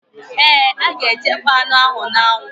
Ee, a ga-echekpọ anụ ahụ n'anwụ